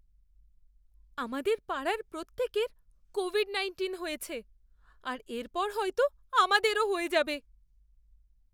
আমাদের পাড়ার প্রত্যেকের কোভিড নাইন্টিন হয়েছে, আর এরপর হয়তো আমাদেরও হয়ে যাবে।